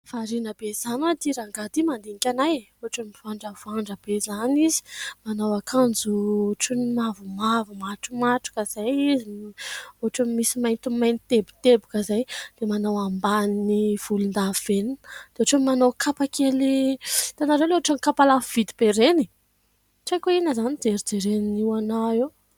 Variana be izany hoy aho ity rangahy ity mandinika ahy, ohatra ny mivandravandra be izany izy. Manao akanjo ohatra ny mavomavo matromatroka izay izy, ohatra ny misy maintimainty teboteboka izay ; dia manao ambany volondavenona ; dia ohatra ny manao kapa kely, hitanareo ilay ohatra ny kapa lafo vidy be ireny. Tsy haiko inona izany no ijerijereny ahy eo.